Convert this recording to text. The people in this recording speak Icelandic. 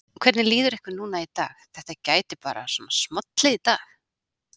Hvernig líður ykkur núna í dag, þetta gæti bara svona smollið í dag?